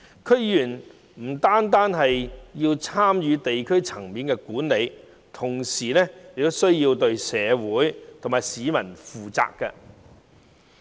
區議員不但要參與地區管理，同時也要對社會和市民負責。